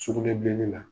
Sugunɛbilenni na